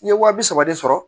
N ye wa bi saba de sɔrɔ